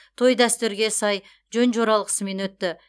той дәстүрге сай жөн жоралғысымен өтті